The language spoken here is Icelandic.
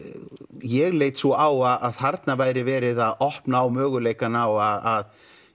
ég leit svo á að þarna væri verið að opna á möguleikann á að